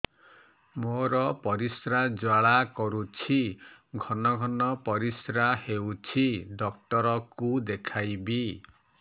ମୋର ପରିଶ୍ରା ଜ୍ୱାଳା କରୁଛି ଘନ ଘନ ପରିଶ୍ରା ହେଉଛି ଡକ୍ଟର କୁ ଦେଖାଇବି